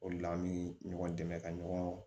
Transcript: O de la an bɛ ɲɔgɔn dɛmɛ ka ɲɔgɔn